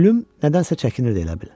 Plyum nədənsə çəkinirdi elə bil.